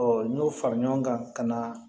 n y'o fara ɲɔgɔn kan ka na